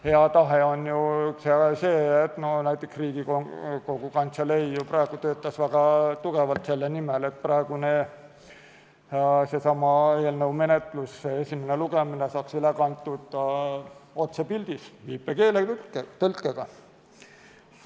Hea tahe on ju see, et näiteks Riigikogu Kantselei praegu töötas väga tugevalt selle nimel, et seesama eelnõu esimene lugemine saaks üle kantud otsepildis viipekeeletõlkega.